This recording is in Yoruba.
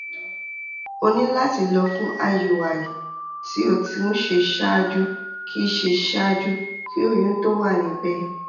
o ní láti lọ fún iui tí o ti ń ṣe ṣáájú kì í ṣe ṣáájú kí oyún tó wà níbẹ̀